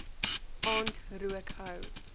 aand rook hou